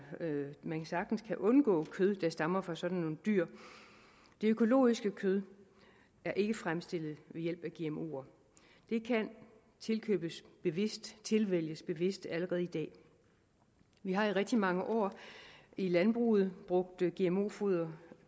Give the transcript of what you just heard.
man sagtens kan undgå kød der stammer fra sådan nogle dyr det økologiske kød er ikke fremstillet ved hjælp af gmoer det kan tilkøbes bevidst tilvælges bevidst allerede i dag vi har i rigtig mange år i landbruget brugt gmo foder